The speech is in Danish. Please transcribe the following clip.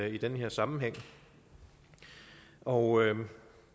i den her sammenhæng og